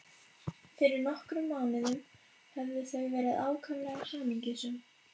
Fyrir nokkrum mánuðum höfðu þau verið ákaflega hamingjusöm.